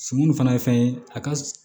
Sun fana ye fɛn ye a ka s